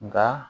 Nka